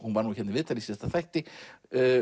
hún var hér í viðtali í síðasta þætti